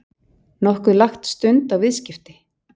Nokkuð lagt stund á viðskipti?